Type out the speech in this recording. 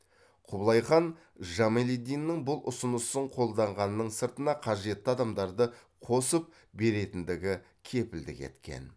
құбылай хан жамалиддиннің бұл ұсынысын қолдағанның сыртына қажетті адамдарды қосып беретіндігі кепілдік еткен